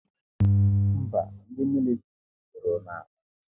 Mba, ndị militiri guzoro n'Onicha